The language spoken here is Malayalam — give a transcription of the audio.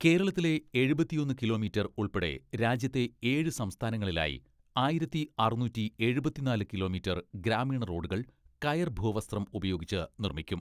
കേരളത്തിലെ എഴുപത്തിയൊന്ന് കിലോമീറ്റർ ഉൾപ്പെടെ രാജ്യത്തെ ഏഴ് സംസ്ഥാനങ്ങളിലായി ആയിരത്തി അറുനൂറ്റി എഴുപത്തിനാല് കിലോമീറ്റർ ഗ്രാമീണ റോഡുകൾ കയർ ഭൂവസ്ത്രം ഉപയോഗിച്ച് നിർമ്മിക്കും.